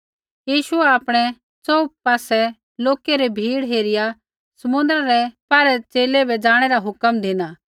यीशुऐ आपणै च़ोहू पासै लोकै री भीड़ हेरिया समुन्द्रा रै पौरै च़ेले बै ज़ाणै रा हुक्म धिना